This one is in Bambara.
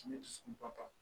Tile dusukun ka kan